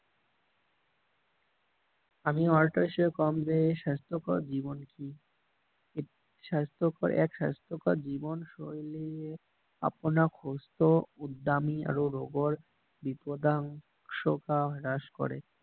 আমি আৰু এটা কম যে স্বাস্থ্যকৰ জীৱন কি স্বাস্থ্যকৰ এক স্বাস্থ্যকৰ জীৱন শৈলীয়ে আপোনাক সুস্থ উৎদামি আৰু ৰোগৰ বিধ্বংসতা নাশ কৰে